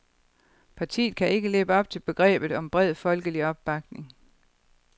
Partiet kan ikke leve op til begrebet om bred folkelig opbakning.